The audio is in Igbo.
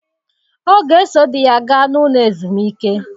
Ọ ga-eso di ya gaa n'ụlọ ezumike.